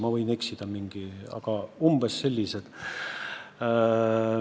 Ma võin eksida, aga umbes sellised summad olid.